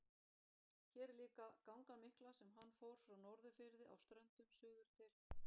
Hér er líka gangan mikla sem hann fór frá Norðurfirði á Ströndum suður til